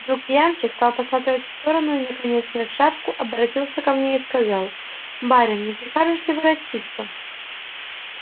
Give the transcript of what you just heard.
вдруг ямщик стал посматривать в сторону и наконец сняв шапку оборотился ко мне и сказал барин не прикажешь ли воротиться